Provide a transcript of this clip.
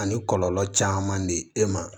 Ani kɔlɔlɔ caman de e ma